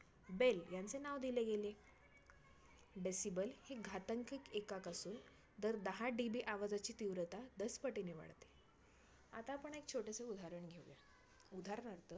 Bell ह्यांचे नाव दिले गेले. Decibel हे घातांकीत एकक असून दर दहा DB आवाजाची तीव्रता दस पटीने वाढते. आता आपण छोटसं उदाहरण घेऊया. उदाहरणार्थ